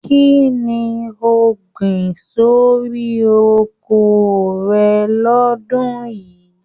Kínní o gbìn sórí oko rẹ l'ọdun yìí?